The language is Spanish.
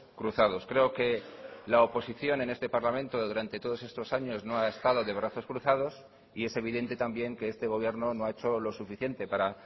cruzados creo que la oposición en este parlamento durante todos estos años no ha estado de brazos cruzados y es evidente también que este gobierno no ha hecho lo suficiente para